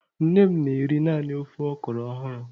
Nne m na-eri naanị ofe okro ọhụrụ.